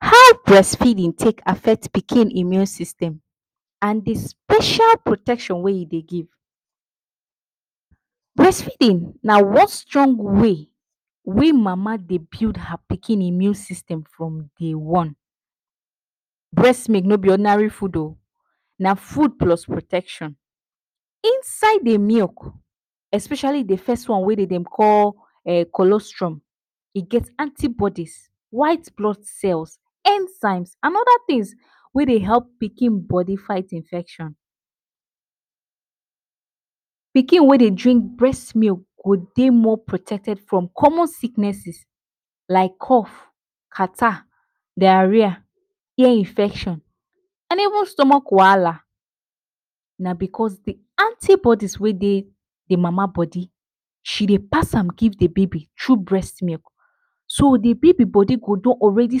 How brest feedin take afect pikin immune system and the special protection wey e dey give. Brest feedin na one strong way wey mama dey build her pikin immune system from day one. Breast milk no be ordinary fud o, na fud plus protection. Inside the milk especiali the first one wey dem dey call cholesterol, e get anti bodies, white blood cells, enzyme, and oda tins wey dey help pikin bodi fight infection. Pikin wey dey drink brest milk go dey more protected from common sicknesses like cough, catarrh, dariah, ear infection and even stomach wahala na because de anti bodies wey dey the mama bodi she dey pass am give the baby through brest milk. So the baby bodi go don already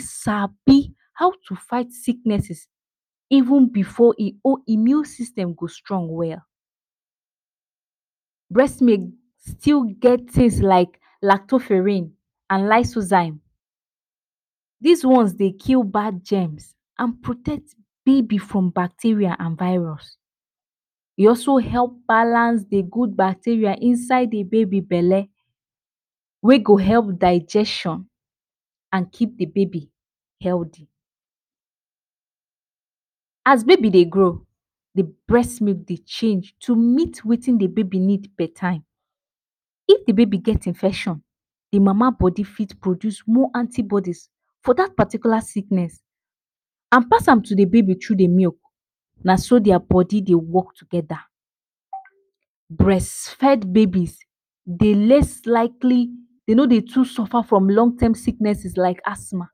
sabi how to fight sicknesses even before immune system go strong well. Brest milk still get taste like lactoferene and lysozyme. Dis ones dey kill bad gems and protect baby from bacteria and virus.e also help balance dey gud bacteria inside the baby bele wey go help digestion and keep the baby healthy. As baby dey grow, the brest milk dey change to meet wetin the baby need part time, if the baby get infection, the mama bodi feet produce more anti bodies for dat particular sickness and pass am to the baby thru di milk, na so dia bodi dey work togeda. Breast fed babies dey less likely dey no dey too surfer from long time sicknesses like athma,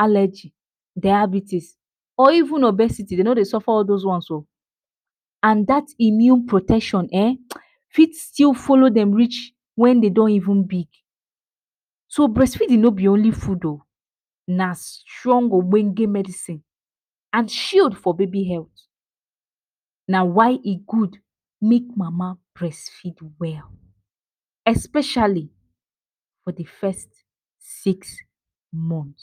alegy, diabetes, or even obesity dey no dey surfer all dos ones oo and dat immune protection ehn, fit still folo dem rich wen dem don even big. So brest feedin no be only fud o na strong ogbenge medicine. And shield for baby health, na why e gud make mama brest feed well. Especiali for the first six month.